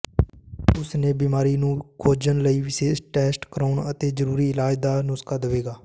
ਉਸ ਨੇ ਬਿਮਾਰੀ ਨੂੰ ਖੋਜਣ ਲਈ ਵਿਸ਼ੇਸ਼ ਟੈਸਟ ਕਰਾਉਣ ਅਤੇ ਜ਼ਰੂਰੀ ਇਲਾਜ ਦਾ ਨੁਸਖ਼ਾ ਦੇਵੇਗਾ